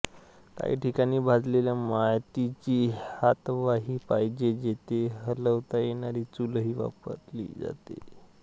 काही ठिकाणी भाजलेल्या मातीची हातवाही पाहिजे तिथे हलवता येणारी चूलही वापरली जाते